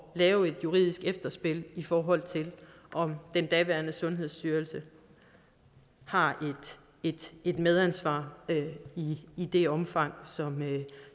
lave et juridisk efterspil i forhold til om den daværende sundhedsstyrelse har et medansvar i det omfang